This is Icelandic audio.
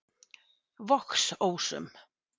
Vogsósum